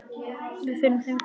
Við finnum þeim hvergi farveg.